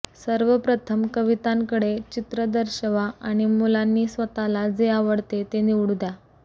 सर्वप्रथम कवितांकडे चित्र दर्शवा आणि मुलांनी स्वतःला जे आवडते ते निवडून द्या